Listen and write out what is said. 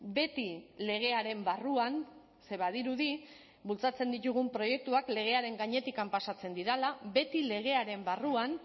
beti legearen barruan ze badirudi bultzatzen ditugun proiektuak legearen gainetik pasatzen direla beti legearen barruan